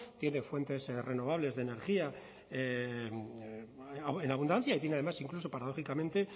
tiene fuentes renovables de energía en abundancia y tiene además incluso paradójicamente